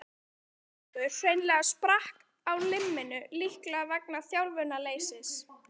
Annar eins hópur hreinlega sprakk á limminu, líklega vegna þjálfunarleysis.